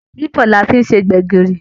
Ẹwà bibo ni a fi n se gbẹ̀gìrì.